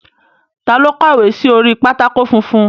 Ta ló kọ̀wé sí orí pátákó funfun?